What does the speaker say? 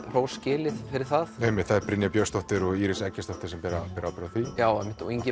hrós skilið fyrir það einmitt það er Brynja Björnsdóttir og Íris Eggertsdóttir sem bera bera ábyrgð á því já einmitt og Ingi